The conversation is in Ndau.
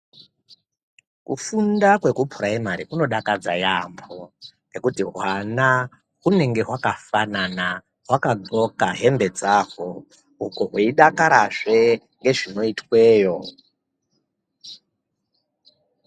Kufunda kweku puraimari kuno dakadza yamho hwana hunenge hwaka fanana hwaka hloka hembe dzahwo vei dakara zve ngezvino itweyo.